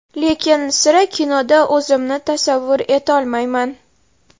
Lekin sira kinoda o‘zimni tasavvur etolmayman.